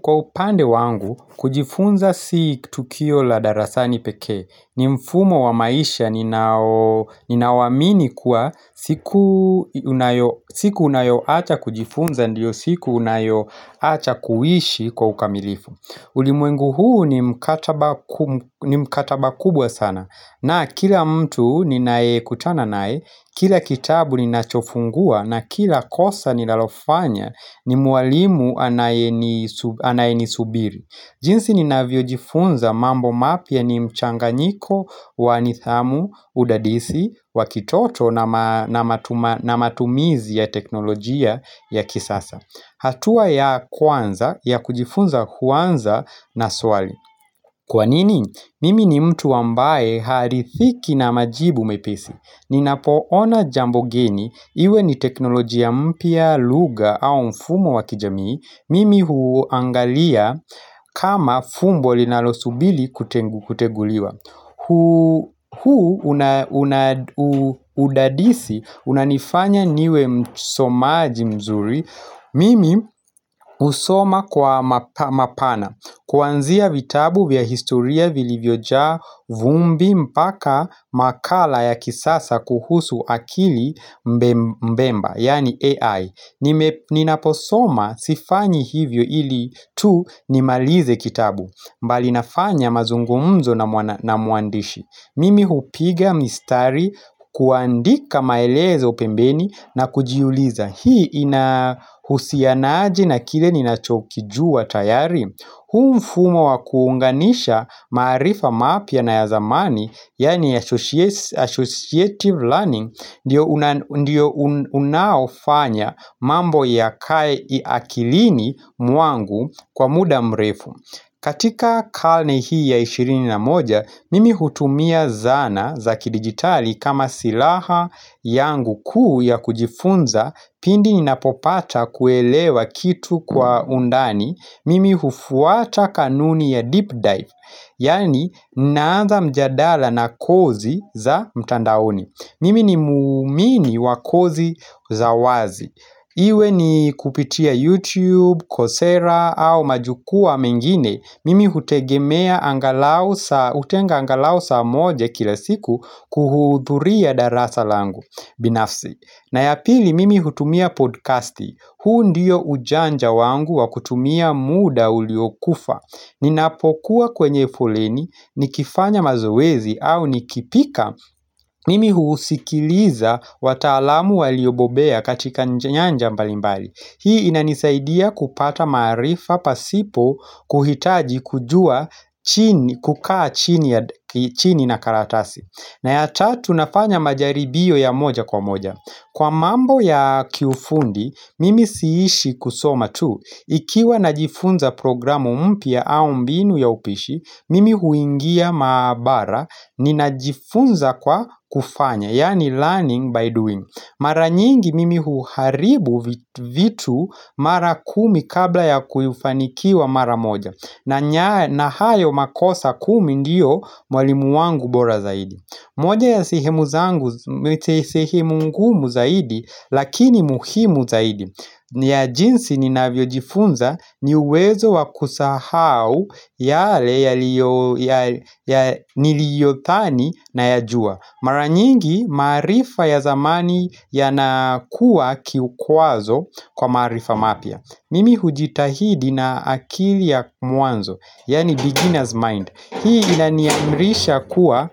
Kwa upande wangu, kujifunza si tukio la darasani pekee, ni mfumo wa maisha, ninauamini kuwa siku unayoacha kujifunza, ndiyo siku unayoacha kuishi kwa ukamilifu ulimwengu huu ni mkataba kuu ni mkataba kubwa sana na kila mtu ninayekutana naye Kila kitabu ninachofungua na kila kosa ninalofanya ni mwalimu anayenisubiri jinsi ninavyojifunza mambo mapya ni mchanganyiko wa nidhamu, udadisi, wa kitoto na matumizi ya teknolojia ya kisasa hatua ya kwanza, ya kujifunza huanza na swali. Kwa nini, mimi ni mtu ambaye haridhiki na majibu mepesi. Ninapoona jambo geni, iwe ni teknolojia mpya lugha au mfumo wa kijamii, mimi huangalia kama fumbo linalosubiri kuteguliwa. Huu udadisi, unanifanya niwe msomaji mzuri Mimi husoma kwa mapana Kwanzia vitabu vya historia vilivyojaa vumbi mpaka makala ya kisasa kuhusu akili mbemba Yaani AI Ninaposoma sifanyi hivyo ili tu nimalize kitabu bali nafanya mazungumzo na mwandishi Mimi hupiga mistari kuandika maelezo pembeni na kujiuliza Hii inahusiana aje na kile ninachokijua tayari huu mfumo wa kuunganisha maarifa mapya na ya zamani Yaani associative learning ndio Ndio unaofanya mambo yakae akilini mwangu kwa muda mrefu katika karne hii ya ishirini na moja, mimi hutumia zana za kidijitali kama silaha yangu kuu ya kujifunza pindi ninapopata kuelewa kitu kwa undani, mimi hufuata kanuni ya deep dive, yaani ninaanza mjadala na kozi za mtandaoni. Mimi ni muumini wa kozi za wazi. Iwe ni kupitia YouTube, Coursera au majukuaa mengine. Mimi hutenga angalau saa moja kila siku kuhudhuria darasa langu. Binafsi. Na ya pili mimi hutumia podkasti, huu ndiyo ujanja wangu wa kutumia muda uliokufa Ninapokuwa kwenye foleni, nikifanya mazoezi au nikipika Mimi husikiliza wataalamu waliobobea katika nyanja mbalimbali Hii inanisaidia kupata maarifa pasipo kuhitaji kukaa chini ya chini na karatasi na ya tatu nafanya majaribio ya moja kwa moja Kwa mambo ya kiufundi, mimi siishi kusoma tu. Ikiwa najifunza programu mpya au mbinu ya upishi, mimi huingia maabara ninajifunza kwa kufanya, yaani learning by doing. Mara nyingi mimi huharibu vitu mara kumi kabla ya kufanikiwa mara moja. Na hayo makosa kumi ndiyo mwalimu wangu bora zaidi. Moja ya sehemu zangu, sehemu ngumu zaidi, lakini muhimu zaidi ni ya jinsi ninavyojifunza ni uwezo wa kusahau yale niliyodhani nayajua Mara nyingi maarifa ya zamani yanakuwa kikwazo kwa maarifa mapya Mimi hujitahidi na akili ya mwanzo, yaani beginner's mind Hii inaniamrisha kuwa